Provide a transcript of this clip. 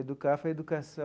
EDUCAF é a educação...